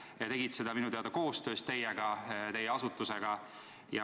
Nad tegid seda minu teada koostöös teie asutusega.